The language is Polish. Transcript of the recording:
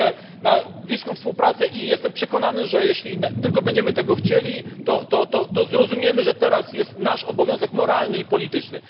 Liczę na bliską współpracę i jestem przekonany, że jeśli tylko będziemy tego chcieli, to zrozumiemy, że teraz jest nasz obowiązek moralny i polityczny.